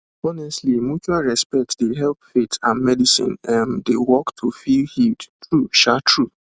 honestly mutual respect dey help faith and medicine um dey work to feel healed true um true